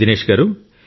దినేష్ గారూ